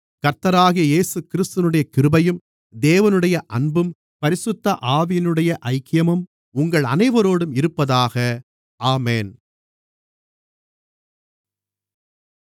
கர்த்தராகிய இயேசுகிறிஸ்துவினுடைய கிருபையும் தேவனுடைய அன்பும் பரிசுத்த ஆவியினுடைய ஐக்கியமும் உங்கள் அனைவரோடும் இருப்பதாக ஆமென்